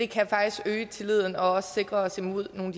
kan faktisk øge tilliden og også sikre os imod nogle